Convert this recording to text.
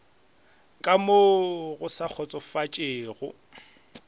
ka mo go sa kgotsofatšego